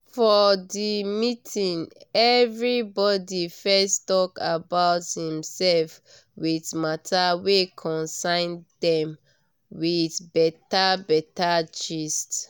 for the meeting everybody fess talk about him sef with mata wey concern dem with beta beta gist